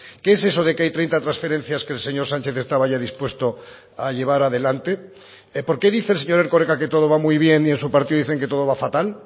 qué es eso de que hay treinta transferencias que el señor sánchez estaba ya dispuesto a llevar adelante por qué dice el señor erkoreka que todo va muy bien y en su partido dicen que todo va fatal